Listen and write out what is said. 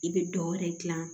I bɛ dɔ wɛrɛ dilan